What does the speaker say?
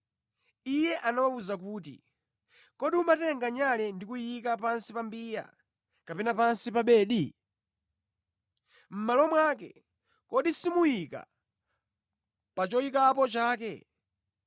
Iye anawawuza kuti, “Kodi umatenga nyale ndi kuyiika pansi pa mbiya kapena pansi pa bedi? Mʼmalo mwake, kodi simuyika pa choyikapo chake?